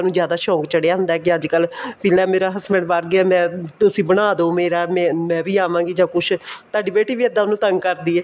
ਜਿਆਦਾ ਸ਼ੋਂਕ ਚੜਿਆ ਹੁੰਦਾ ਕੇ ਅੱਜ ਕੱਲ ਮੇਰਾ husband ਬਹਾਰ ਗਿਆ ਮੈਂ ਤੁਸੀਂ ਬਣਾਦੋ ਮੇਰਾ ਮੈਂ ਵੀ ਆਵਾਗੀ ਜਾ ਕੁੱਛ ਤੁਹਾਡੀ ਬੇਟੀ ਵੀ ਇੱਦਾਂ ਇਹਨੂੰ ਤੰਗ ਕਰਦੀ ਹੈ